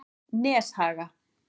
Neshaga